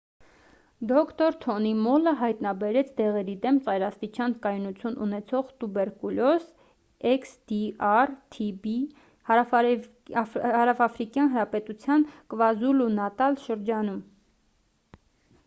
դոկտոր թոնի մոլը հայտնաբերեց դեղերի դեմ ծայրաստիճան կայունություն ունեցող տուբերկուլոզ xdr-tb հարավաֆրիկյան հանրապետության կվազուլու-նատալ շրջանում: